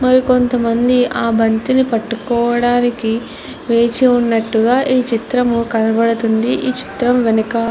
మరి కొంతమంది ఆ బంతిని పట్టుకోవడానికి వేచి ఉన్నట్టుగా ఈ చిత్రంలో కనబడుతూ ఉంది. ఈ చిత్రం వెనక --